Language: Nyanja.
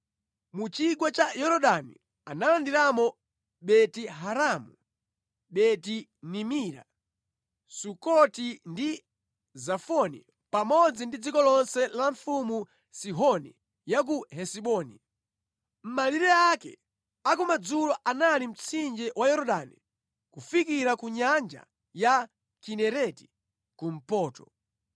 Mu chigwa cha Yorodani analandiramo Beti-Haramu, Beti-Nimira, Sukoti ndi Zafoni pamodzi ndi dziko lonse la mfumu Sihoni ya ku Hesiboni. Malire ake a ku madzulo anali mtsinje wa Yorodani kufikira ku Nyanja ya Kinereti, kumpoto.